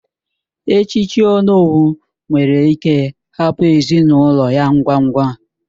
Echiche onowu nwere ike hapụ ezinụlọ ya ngwa ngwa